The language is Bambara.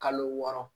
Kalo wɔɔrɔ